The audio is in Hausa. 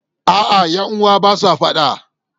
A'a, ƴan uwa ba sa faɗa